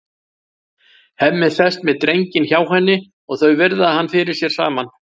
Hemmi sest með drenginn hjá henni og þau virða hann fyrir sér saman.